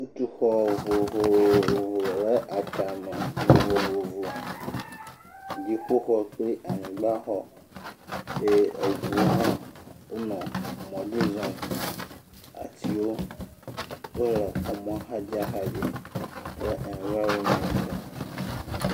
wotɔ xɔ vovovo le atsãme vovovovo dziƒoxɔ kple anyigbã xɔ ye eʋuwo hã nɔ mɔdzi zɔm ye atiwo hã le ɛnvaromɛnt a